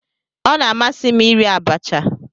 Ọ na-amasị m iri abacha.